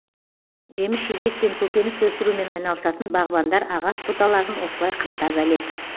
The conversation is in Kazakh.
жеміс жидек пен көкөніс өсірумен айналысатын бағбандар ағаш бұталарын осылай қымтап әлек